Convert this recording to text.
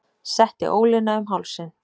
Setti ólina um hálsinn.